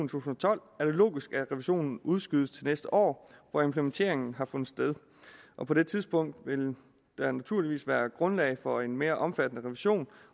tusind og tolv er det logisk at revisionen udskydes til næste år hvor implementeringen har fundet sted og på det tidspunkt vil der naturligvis være grundlag for en mere omfattende revision